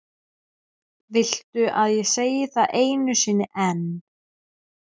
Viltu að ég segi það einu sinni enn?